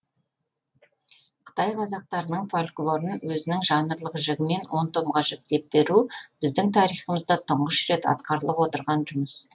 қытай қазақтарының фольклорын өзінің жанрлық жігімен он томға жіктеп беру біздің тарихымызда тұңғыш рет атқарылып отырған жұмыс